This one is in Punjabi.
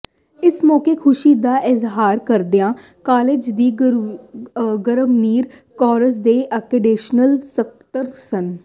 ਇਸ ਮੌਕੇ ਖੁਸ਼ੀ ਦਾ ਇਜ਼ਹਾਰ ਕਰਦਿਆਂ ਕਾਲਜ ਦੀ ਗਵਰਨਿੰਗ ਕੌਂਸਲ ਦੇ ਐਡੀਸ਼ਨਲ ਸਕੱਤਰ ਸ